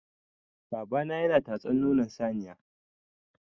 Babana yana tatsan nonon saniya.